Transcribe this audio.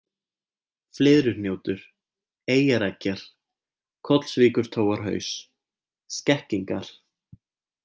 Flyðruhnjótur, Eyjareggjar, Kollsvíkurtóarhaus, Skekkingar